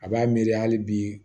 A b'a miiri hali bi